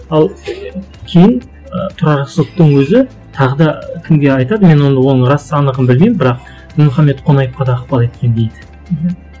ал кейін ы тұрар рысқұловтың өзі тағы да кімге айтады мен оның рас анығын білмеймін бірақ дінмұхамед қонаевқа да ықпал еткен дейді мхм